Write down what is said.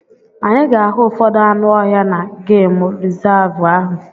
Anyị ga-ahụ ụfọdụ anụ ọhịa na gemụ rizavụ ahụ.